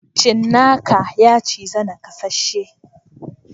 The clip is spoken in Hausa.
Cinnaka yaciza nakasheshi.